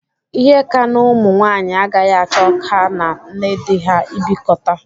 Ihe ka n'ụmụ nwaanyị agaghị achọ ha na nne dị ha ịbịkọta.